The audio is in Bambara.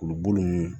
K'olu bolo ninnu